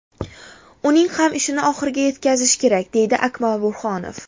Uning ham ishini oxiriga yetkazish kerak”, deydi Akmal Burhonov.